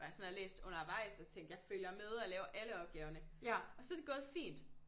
Og jeg sådan har læst undervejs og tænkt jeg følger med og jeg laver alle opgaverne og så er det gået fint